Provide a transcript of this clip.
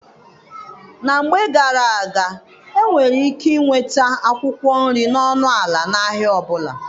Na mgbe gara-aga, e nwere ike inweta akwụkwọ nri n'ọnụ ala n'ahịa ọbụla.